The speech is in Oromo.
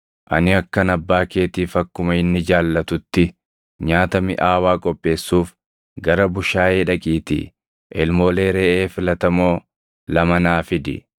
Ani akkan abbaa keetiif akkuma inni jaallatutti nyaata miʼaawaa qopheessuuf gara bushaayee dhaqiitii ilmoolee reʼee filatamoo lama naa fidi.